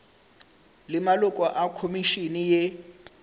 le maloko a khomišene ye